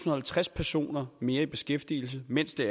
og halvtreds personer mere i beskæftigelse mens det